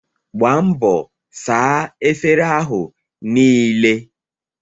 Gbaa mbọ saa efere ahụ niile!